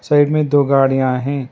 Side में दो गाड़ियां हैं।